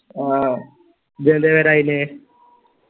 ഇജ്ജെന്തേ വരായ്ന്